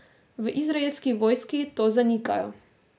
V izraelski vojski to zanikajo.